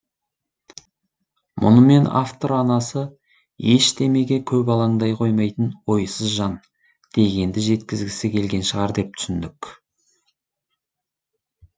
мұнымен автор анасы ештемеге көп алаңдай қоймайтын ойсыз жан дегенді жеткізгісі келген шығар деп түсіндік